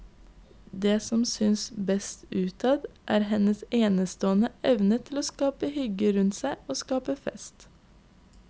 Det som synes best utad, er hennes enestående evne til å skape hygge rundt seg og skape fest.